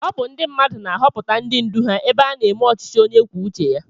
Ọ bụ ndị mmadụ na-ahọpụta ndị ndú ha ebe a na-eme ọchịchị onye kwuo uche ya